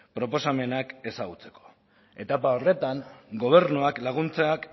proposamenak ezagutzeko etapa horretan gobernuak laguntzak